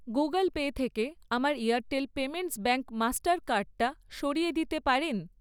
Google Pay থেকে আমার Airtel payments bank master কার্ডটা সরিয়ে দিতে পারেন?